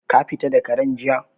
Ka fita da Karen jiya?